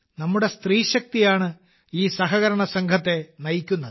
നമ്മുടെ സ്ത്രീശക്തിയാണ് ഈ സഹകരണസംഘത്തെ നയിക്കുന്നത്